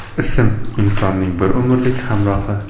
Ism – insonning bir umrlik hamrohi.